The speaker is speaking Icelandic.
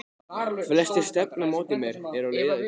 Flestir stefna á móti mér, eru á leið í bæinn.